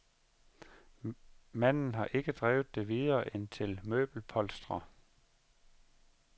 Manden har ikke drevet det videre end til møbelpolstrer.